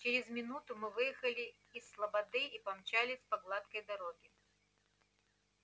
через минуту мы выехали из слободы и помчались по гладкой дороге